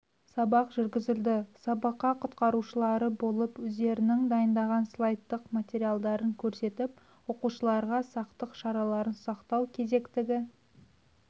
сабақ жүргізілді сабаққа құтқарушылары болып өздерінің дайындаған слайдтық материалдарын көрсетіп оқушыларға сақтық шараларын сақтау керектігі